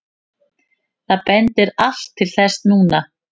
Það bendir allt til þess núna.